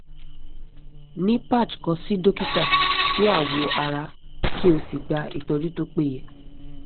ni patch kan si dokita ti awo ara ki o si gba itoju to peye